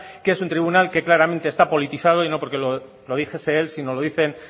que es un tribunal que claramente está politizado y no porque lo dijese él sino lo dicen